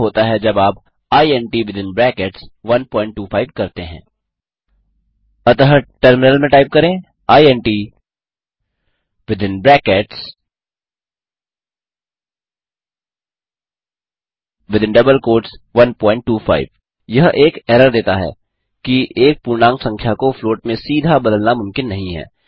क्या होता है जब आप इंट विथिन ब्रैकेट्स 125 करते हैं अतः टर्मिनल में टाइप करें इंट विथिन ब्रैकेट्स 125 यह एक एरर देता है कि एक पूर्णांक संख्या को फ्लॉट में सीधा बदलना मुमकिन नहीं है